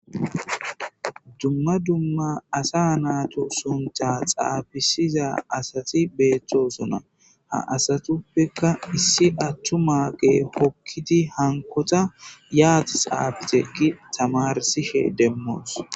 Dumma dumma asa naatu suntha xaabisiza asati beeththosona ha asatuppekka issi attu maaqe hokkiti hankota yaati xaabite gi tamarsishe demmoos.